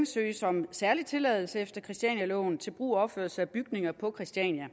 søges om særlig tilladelse efter christianialoven til brug og opførelse af bygninger på christiania